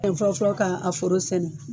E fɔlɔfɔlɔ k'aa foro sɛnɛ